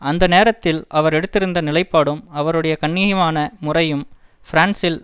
அந்த நேரத்தில் அவர் எடுத்திருந்த நிலைப்பாடும் அவருடைய கண்ணியமான முறையும் பிரான்சில்